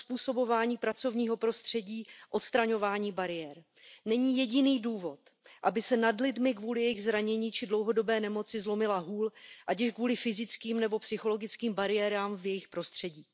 uzpůsobování pracovního prostředí, odstraňování bariér. Není jediný důvod, aby se nad lidmi kvůli jejich zranění či dlouhodobé nemoci zlomila hůl, ať již kvůli fyzickým nebo psychologickým bariérám v jejich prostředí.